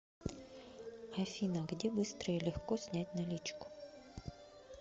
афина где быстро и легко снять наличку